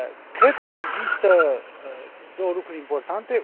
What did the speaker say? Cred că există două lucruri importante